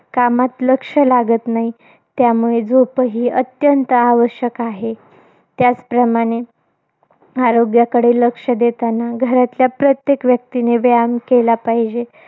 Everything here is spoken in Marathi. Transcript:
कामात लक्ष लागत नाही. त्यामुळे, झोपही अत्यंत आवश्यक आहे. त्याचप्रमाणे आरोग्याकडे लक्ष देतांना, घरातल्या प्रत्येक व्यक्तीने व्यायाम केला पाहिजे.